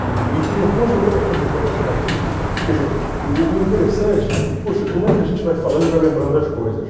E tenho boas recordações nos colégios batistas, quer dizer, o o o interessante, puxa, como é que a gente vai falando e vai lembrando das coisas?